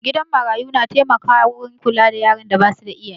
Gidan marayu na taimaka wurin kula da yaran da basu da iyaye